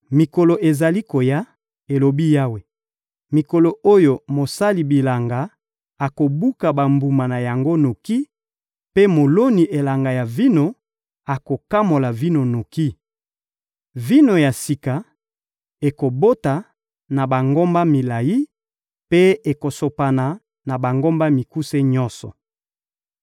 «Mikolo ezali koya,» elobi Yawe, «mikolo oyo mosali bilanga akobuka bambuma na yango noki, mpe moloni elanga ya vino akokamola vino noki. Vino ya sika ekobota na bangomba milayi mpe ekosopana na bangomba mikuse nyonso.